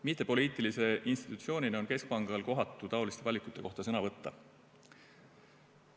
Mittepoliitilise institutsioonina on keskpangal kohatu taoliste valikute kohta sõna võtta.